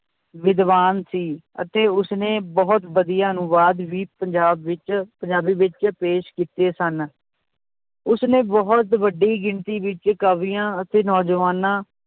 ਵਿਦਵਾਨ ਸੀ ਅਤੇ ਉਸਨੇ ਬਹੁਤ ਵਧੀਆ ਅਨੁਵਾਦ ਵੀ ਪੰਜਾਬ ਵਿੱਚ ਪੰਜਾਬੀ ਵਿੱਚ ਪੇਸ਼ ਕੀਤੇ ਸਨ, ਉਸਨੇ ਬਹੁਤ ਵੱਡੀ ਗਿਣਤੀ ਵਿੱਚ ਕਵੀਆਂ ਅਤੇ ਨੌਜਵਾਨਾਂ